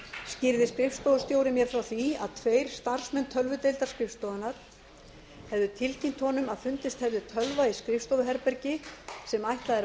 skýrði skrifstofustjóri mér frá því að tveir starfsmenn tölvudeildar skrifstofunnar hefðu tilkynnt honum að fundist hefði tölva í skrifstofuherbergi sem ætlað er